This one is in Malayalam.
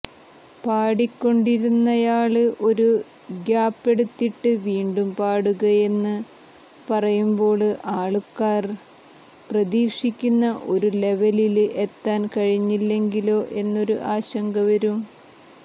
പാടിക്കൊണ്ടിരുന്നയാള് ഒരു ഗ്യാപ്പെടുത്തിട്ട് വീണ്ടും പാടുകയെന്നു പറയുമ്പോള് ആള്ക്കാര് പ്രതീക്ഷിക്കുന്ന ഒരു ലെവലില് എത്താന് കഴിഞ്ഞില്ലെങ്കിലോ എന്നൊരു ആശങ്കവരും